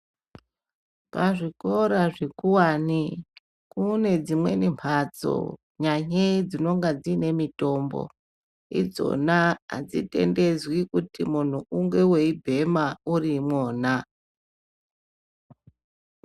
Pazvikora zvikuwane pane dzimweni mphatso nyanyei dzinonga dziine mitombo idzona adzitendedzwi kuti munthu unge weibhema uriimwona.